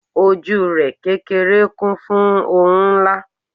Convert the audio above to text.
ojú rẹ kékeré kún fún oun nla